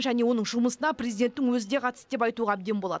және оның жұмысына президенттің өзі де қатысты деп айтуға әбден болады